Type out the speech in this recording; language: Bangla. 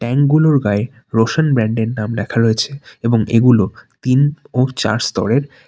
গুলোর গায়ে রোসান ব্যান্ড -এর নাম লেখা রয়েছে এবং এগুলো তিন ও চার স্তরের।